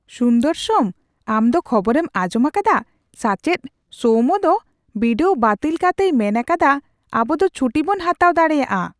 ᱥᱩᱱᱫᱚᱨᱥᱮᱢ ᱟᱢ ᱫᱚ ᱠᱷᱚᱵᱚᱨᱮᱢ ᱟᱸᱡᱚᱢ ᱟᱠᱟᱫᱟ ? ᱥᱟᱪᱮᱫ ᱥᱳᱣᱢᱳ ᱫᱚ ᱵᱤᱰᱟᱹᱣᱮ ᱵᱟᱹᱛᱤᱞ ᱠᱟᱛᱮᱭ ᱢᱮᱱ ᱟᱠᱟᱫᱟ ᱟᱵᱩ ᱫᱚ ᱪᱷᱩᱴᱤᱵᱚᱱ ᱦᱟᱛᱟᱣ ᱫᱟᱲᱮᱭᱟᱜᱼᱟ !